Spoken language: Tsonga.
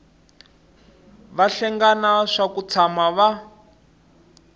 vahlengani swa ku tshama va